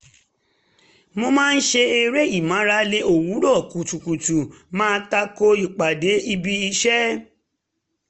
mo máa ṣe eré ìmárale òwúrọ̀ kùtùkùtù má tako ìpàdé ibi iṣẹ́